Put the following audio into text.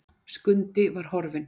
Skundi var horfinn!